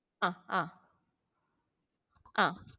ആ ആഹ് ആഹ്